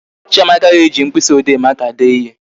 Chiamaka ga-eji mkpịsị ode maka dee ihe